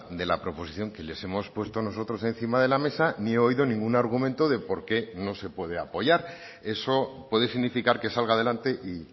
de la proposición que les hemos puesto nosotros encima de la mesa ni he oído ningún argumento de por qué no se puede apoyar eso puede significar que salga adelante y